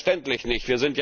Selbstverständlich nicht!